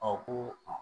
Ɔ ko